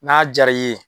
N'a diyara i ye